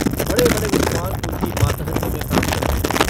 बड़े-बड़े विद्वान उनकी मातहती में काम करते हैं।